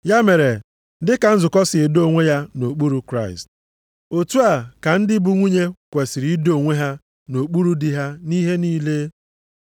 Ya mere, dị ka nzukọ si edo onwe ya nʼokpuru Kraịst, otu a ka ndị bụ nwunye kwesiri ido onwe ha nʼokpuru di ha nʼihe niile.